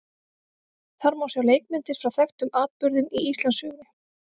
Þar má sjá leikmyndir frá þekktum atburðum í Íslandssögunni.